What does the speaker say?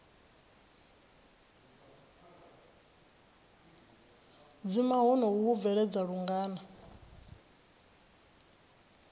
dzima honoho hu bvelela lungana